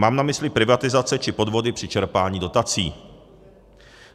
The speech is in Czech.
Mám na mysli privatizace či podvody při čerpání dotací.